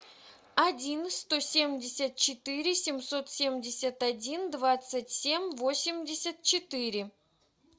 один сто семьдесят четыре семьсот семьдесят один двадцать семь восемьдесят четыре